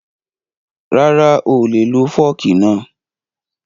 Rara, oolè lo fọ́ọ̀kì náà